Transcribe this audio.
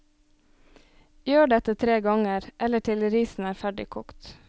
Gjør dette tre ganger, eller til risen er ferdig kokt.